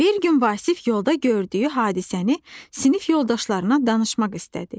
Bir gün Vasif yolda gördüyü hadisəni sinif yoldaşlarına danışmaq istədi.